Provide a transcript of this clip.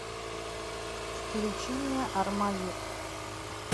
включи мне армавир